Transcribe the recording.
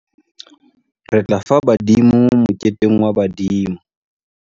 Re tla fa badimo moketeng wa badimo.